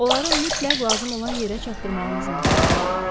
Onları mütləq lazım olan yerə çatdırmağınızı məsləhət görürəm.